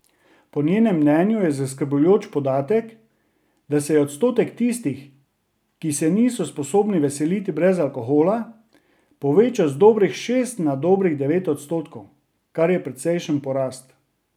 Po njenem mnenju je zaskrbljujoč podatek, da se je odstotek tistih, ki se niso sposobni veseliti brez alkohola, povečal z dobrih šest na dobrih devet odstotkov, kar je precejšen porast.